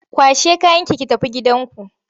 Kwashe kayanki ki tafi gidanku!